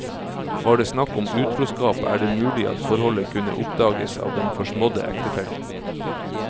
Var det snakk om utroskap er det mulig at forholdet kunne oppdages av den forsmådde ektefellen.